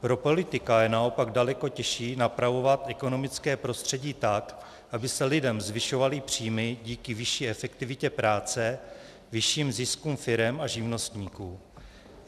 Pro politika je naopak daleko těžší napravovat ekonomické prostředí tak, aby se lidem zvyšovaly příjmy díky vyšší efektivitě práce, vyšším ziskům firem a živnostníků.